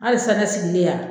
Halisa ne sigilen yan